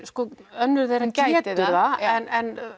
önnur þeirra getur það en